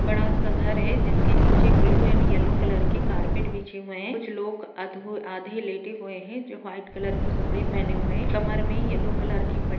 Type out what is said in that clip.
बड़ा सा घर है जिसके नीचे ब्लू और येलो का कारपेट बिछे हुए है कुछ लोग आधे लेटे हुआ है जो वाइट कलर पहरा है कमर में येलो पट्टी--